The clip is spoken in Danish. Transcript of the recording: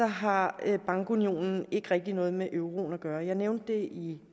har bankunionen ikke rigtig noget med euroen at gøre jeg nævnte i